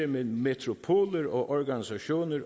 med metropoler og organisationer